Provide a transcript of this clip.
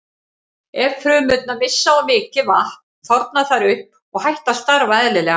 Ef frumurnar missa of mikið vatn þorna þær upp og hætt að starfa eðlilega.